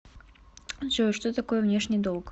джой что такое внешний долг